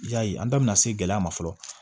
Y'a ye an da bɛna se gɛlɛya ma fɔlɔ